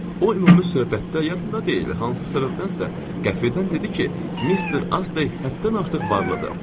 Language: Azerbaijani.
O ümumi söhbətdə yarında deyil, hansı səbəbdənsə qəfildən dedi ki, Mister Astey həddən artıq varlıdır.